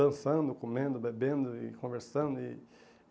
Dançando, comendo, bebendo e conversando e.